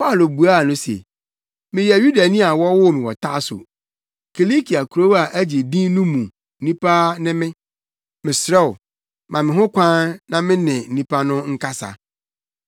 Paulo buaa no se, “Meyɛ Yudani a wɔwoo me wɔ Tarso; Kilikia kurow a agye din no mu nipa ne me. Mesrɛ wo, ma me ho kwan na me ne nnipa no nkasa.”